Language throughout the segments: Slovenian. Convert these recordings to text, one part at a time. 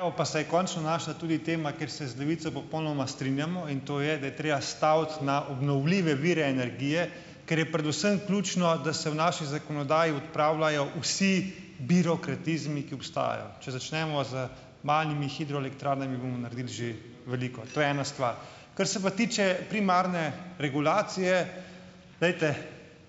Evo, pa se je končno našla tudi tema, kjer se z Levico popolnoma strinjamo. In to je, da je treba staviti na obnovljive vire energije, ker je predvsem ključno, da se v naši zakonodaji odpravljajo vsi birokratizmi, ki obstajajo. Če začnemo z malimi hidroelektrarnami bomo naredili že veliko. To je ena stvar. Kar se pa tiče primarne regulacije. Glejte,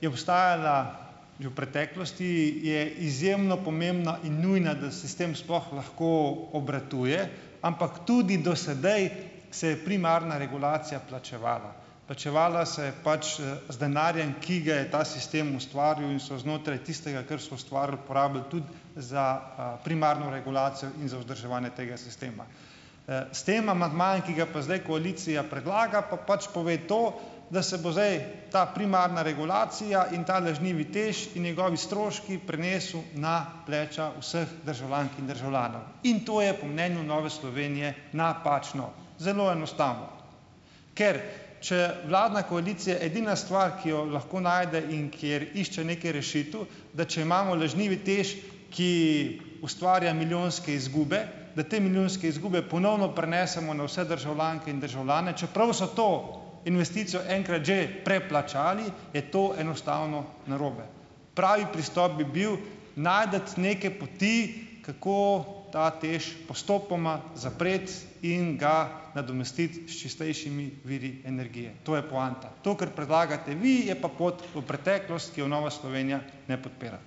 je obstajala že v preteklosti, je izjemno pomembna in nujna, da sitem sploh lahko obratuje, ampak tudi do sedaj se je primarna regulacija plačevala. Plačevala se je pač, z denarjem, ki ga je ta sistem ustvarjal in so znotraj tistega, kar smo ustvarili, porabili tudi za, primarno regulacijo in za vzdrževanje tega sistema. S tem amandmajem, ki ga pa zdaj koalicija predlaga, pa pač pove to, da se bo zdaj ta primarna regulacija in ta lažnivi TEŠ in njegovi stroški prenesel na pleča vseh državljank in državljanov, in to je po mnenju Nove Slovenije napačno. Zelo enostavno, ker če vladna koalicija edina stvar, ki jo lahko najde in kjer išče nekaj rešitev, da če imamo lažnivi TEŠ, ki ustvarja milijonske izgube, da te milijonske izgube ponovno prenesemo na vse državljanke in državljane, čeprav so to investicijo enkrat že preplačali, je to enostavno narobe. Pravi pristop bi bil najti neke poti, kako ta TEŠ postopoma zapreti in ga nadomestiti s čistejšimi viri energije. To je poanta. To, kar predlagate vi, je pa pot v preteklost, ki jo Nova Slovenija ne podpira.